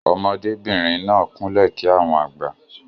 ọmọdé bìrìn náà kún lè kí àwọn àgbà.